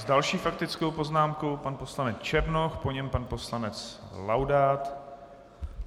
S další faktickou poznámkou pan poslanec Černoch, po něm pan poslanec Laudát.